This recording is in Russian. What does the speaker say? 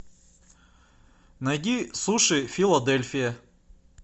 найди суши филадельфия